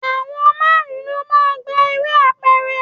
Àwọn márùn-ún lọ máa ń gbá eré apẹ̀rẹ̀.